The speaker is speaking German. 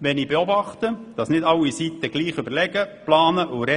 wenn ich beobachte, dass nicht alle Seiten gleich überlegen, planen und sprechen.